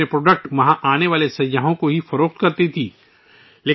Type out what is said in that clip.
پہلے وہ اپنی مصنوعات ، وہاں آنے والے سیاحوں کو ہی فروخت کرتی تھیں